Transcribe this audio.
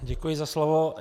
Děkuji za slovo.